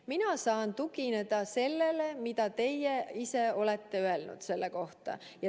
Mina saan tugineda sellele, mida teie ise olete selle kohta öelnud.